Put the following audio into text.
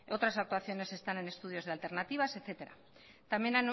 otras actuaciones están en estudio de alternativas etcétera también